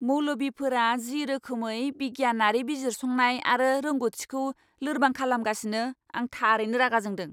मौलबीफोरा जि रोखोमै बिगियानारि बिजिरसंनाय आरो रोंग'थिखौ लोरबां खालामगासिनो, आं थारैनो रागा जोंदों।